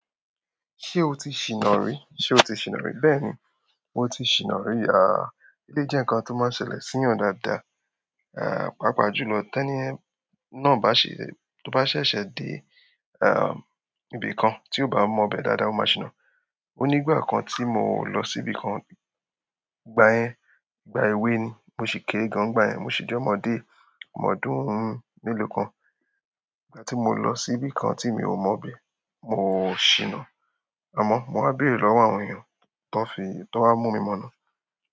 Ṣé o ti ṣìná rí? Ṣe o ti ṣìná rí? Bẹ́ẹ̀ni, mo ti ṣìná rí. Eleyii jẹ́ ǹkan tó máa n ṣẹlẹ̀ sí eeyan dáadáa, páapaa jù lọ. Tẹ́ní yẹ̀n nà bá ṣe- to bá ṣẹ̀ṣẹ̀ dé ibìkan tí o bá mọ̀ ibẹ́ dáadáa, o máa ṣìná. O nígbà kan tí mò lọ sí ibìkan, ìgbà yẹn, ìgbà ewé ni, mo sì kére gan ni ìgbà yẹn, mo sì jẹ́ ọmọdé, ọmọ ọdúnnúún mélòó kan. Ìgbà tí mò lọ síbí kan tí mi ò mọ̀ bẹ́, mò ò ṣìná. Àmọ́ mò wáa béèrè lọ́wọ́ àwọn èèyàn, tó wá mú mi mọ̀nà.